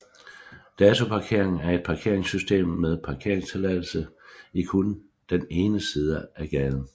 Datoparkering er et parkeringssystem med parkeringstilladelse i kun den ene side af gaden